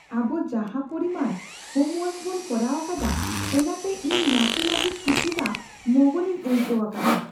ᱟᱵᱚ ᱡᱟᱦᱟᱸ ᱯᱚᱨᱤᱢᱟᱱ ᱦᱳᱢᱼᱳᱣᱟᱨᱠ ᱵᱚᱱ ᱠᱚᱨᱟᱣ ᱟᱠᱟᱫᱟ ᱚᱱᱟᱛᱮ ᱤᱧ ᱱᱟᱥᱮ ᱞᱟᱹᱜᱤᱫ ᱠᱤᱪᱷᱩᱴᱟ ᱢᱚᱜᱚᱱᱤᱧ ᱟᱹᱭᱠᱟᱹᱣ ᱟᱠᱟᱫᱟ ᱾